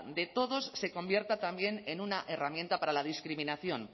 de todos se convierta también en una herramienta para la discriminación